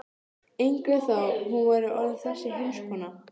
Ingunn þó hún væri orðin þessi heimskona.